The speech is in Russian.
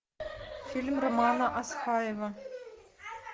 фильм романа асхаева